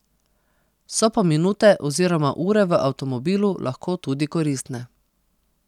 So pa minute oziroma ure v avtomobilu lahko tudi koristne.